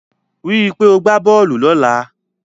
Rí i pé o gbá bọ́ọ̀lù lọ́la.